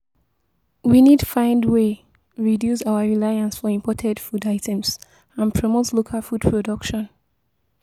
We need find way reduce our reliance for imported food items and promote local food production.